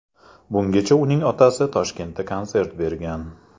Bungacha uning otasi Toshkentda konsert bergan.